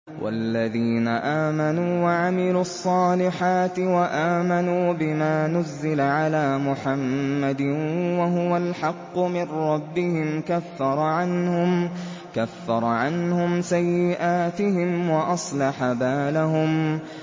وَالَّذِينَ آمَنُوا وَعَمِلُوا الصَّالِحَاتِ وَآمَنُوا بِمَا نُزِّلَ عَلَىٰ مُحَمَّدٍ وَهُوَ الْحَقُّ مِن رَّبِّهِمْ ۙ كَفَّرَ عَنْهُمْ سَيِّئَاتِهِمْ وَأَصْلَحَ بَالَهُمْ